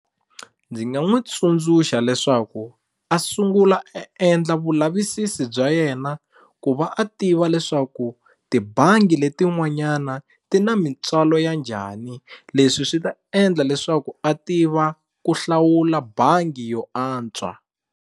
Ndzi nga n'wu tsundzuxa a sungula a sendla vulavisisi bya yena ku va a tiva leswaku tibangi letin'wanyana ti na mintswalo ya njhani leswi swi ta endla leswaku a tiva ku hlawula bangi yo antswa.